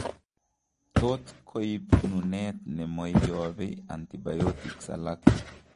Tot koib nuneet nemoiobee antibiotics alak